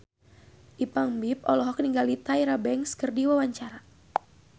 Ipank BIP olohok ningali Tyra Banks keur diwawancara